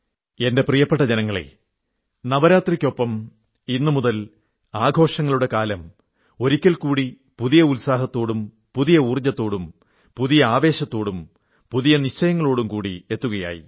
എന്റെ പ്രിയപ്പെട്ട ജനങ്ങളേ നവരാത്രിക്കൊപ്പം ഇന്നുമുതൽ ആഘോഷങ്ങളുടെ കാലം ഒരിക്കൽകൂടി പുതിയ ഉത്സാഹത്തോടും പുതിയ ഊർജ്ജത്തോടും പുതിയ ആവേശത്തോടും പുതിയ നിശ്ചയങ്ങളോടും കൂടി എത്തുകയായി